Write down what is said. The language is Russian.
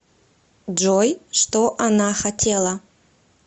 джой что она хотела